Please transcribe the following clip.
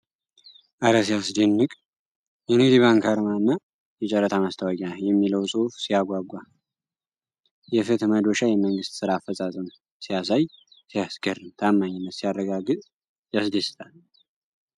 እረ ሲያስደንቅ! የንግድ ባንክ አርማና "የጨረታ ማስታወቂያ" የሚለው ጽሑፍ ሲያጓጓ! የፍትህ መዶሻ የመንግሥት ሥራ አፈጻጸም ሲያሳይ ሲያስገርም! ታማኝነት ሲያረጋገጥ ያስደስታል!